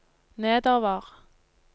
nedover